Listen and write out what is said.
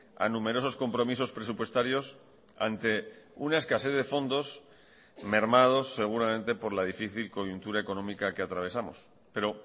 a numerosos compromisos presupuestarios ante una escasez de fondos mermados seguramente por la difícil coyuntura económica que atravesamos pero